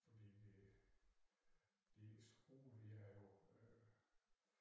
Fordi vi øh den ene skrue vi havde jo øh